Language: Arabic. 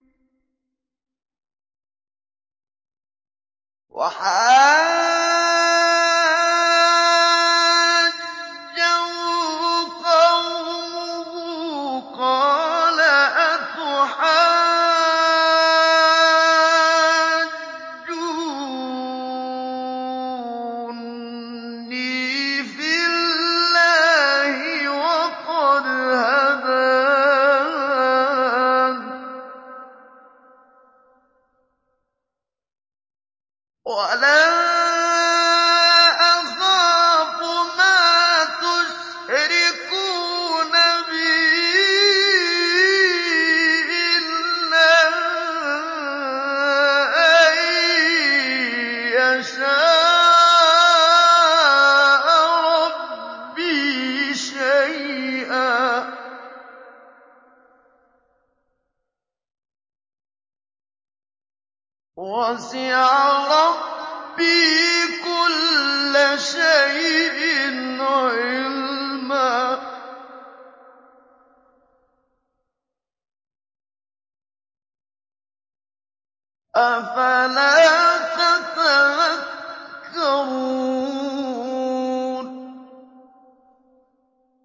وَحَاجَّهُ قَوْمُهُ ۚ قَالَ أَتُحَاجُّونِّي فِي اللَّهِ وَقَدْ هَدَانِ ۚ وَلَا أَخَافُ مَا تُشْرِكُونَ بِهِ إِلَّا أَن يَشَاءَ رَبِّي شَيْئًا ۗ وَسِعَ رَبِّي كُلَّ شَيْءٍ عِلْمًا ۗ أَفَلَا تَتَذَكَّرُونَ